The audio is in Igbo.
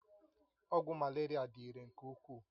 Ọgwụ Malaria dị irè nke ukwuu